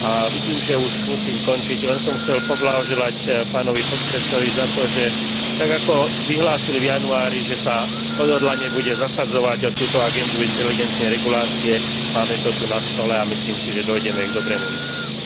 Vidím, že už musím končiť, len som chcel poblahoželať pánovi podpredsedovi za to, že tak, ako vyhlásil v januári, že sa odhodlane bude zasadzovať o túto agendu inteligentnej regulácie, máme to tu na stole a myslím si, že dôjdeme k dobrému výsledku.